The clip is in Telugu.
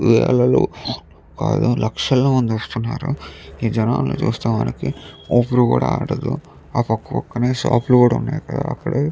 వందలో కాదు లక్షల మంది వస్తున్నారు. ఈ జనాలు చూస్తే మనకి ఊపిరి కూడా ఆడడు --